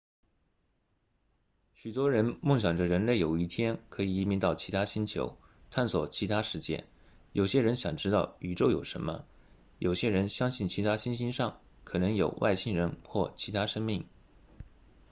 许多人梦想着人类有一天可以移民到其他星球探索其他世界有些人想知道宇宙有什么有些人相信其他行星上可能有外星人或其他生命